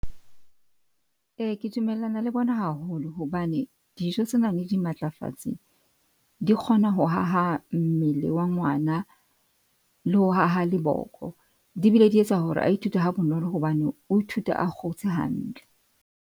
Eya ke dumellana le bona haholo hobane dijo tse nang le dimatlafatsi di kgona ho ho ha ha mmele wa ngwana. Le ho haha le boko. Di bile di etsa hore a ithute ha bonolo hobane o ithuta a kgotse hantle.